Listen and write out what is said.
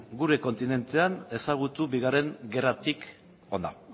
gure kontinentean ezagutu bigarren gerratik hona